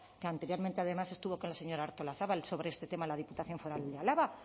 que anteriormente además estuvo con la señora artolazabal sobre este tema en la diputación foral de álava